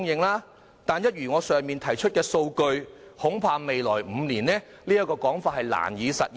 不過，根據我剛才提出的數據，未來5年恐怕也難以實現。